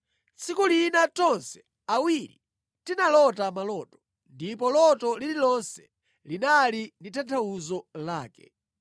Tsiku lina tonse awiri tinalota maloto, ndipo loto lililonse linali ndi tanthauzo lake.